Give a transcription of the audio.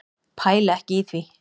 Pæli ekki í því.